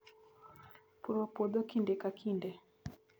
Puro puodho kinde ka kinde